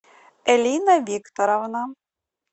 элина викторовна